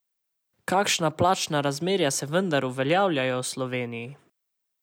Kakšna plačna razmerja se vendar uveljavljajo v Sloveniji?